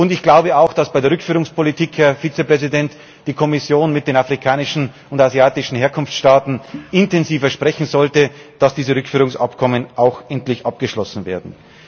sollte. Ich glaube auch, dass bei der Rückführungspolitik, Herr Vizepräsident, die Kommission mit den afrikanischen und asiatischen Herkunftsstaaten intensiver sprechen sollte, damit diese Rückführungsabkommen auch endlich abgeschlossen